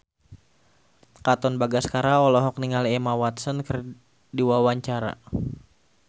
Katon Bagaskara olohok ningali Emma Watson keur diwawancara